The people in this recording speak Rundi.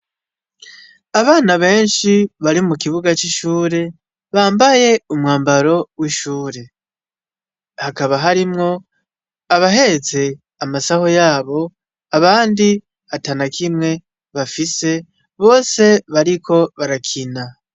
Abana beshi bari mu kibuga c'ishuri bambaye umwambaro w'ishuri hakaba harimwo abahetse amasaho yabo abandi atanakimwe bafise bose bariko barakina.